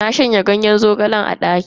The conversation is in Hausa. Na shanya ganyen zogalen a daki saboda ya bushe.